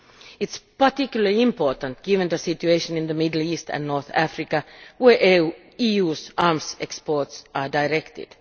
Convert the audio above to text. It is particularly important given the situation in the Middle East and North Africa where the EU's arms exports are directed.